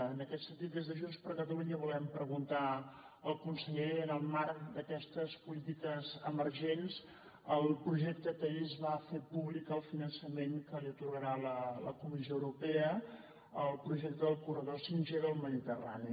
en aquest sentit des de junts per catalunya volem preguntar al conseller en el marc d’aquestes polítiques emergents el projecte que ahir es va fer públic el finançament que li atorgarà la comissió europea el projecte del corredor 5g del mediterrani